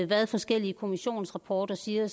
hvad forskellige kommissionsrapporter siger